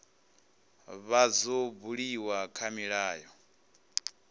vha dzo buliwa kha milayo